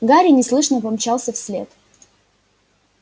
гарри неслышно помчался вслед